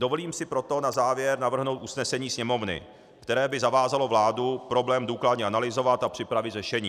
Dovolím si proto na závěr navrhnout usnesení Sněmovny, které by zavázalo vládu problém důkladně analyzovat a připravit řešení.